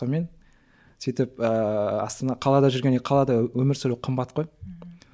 сонымен сөйтіп ііі астана қалада жүргендей қалада өмір сүру қымбат қой ммм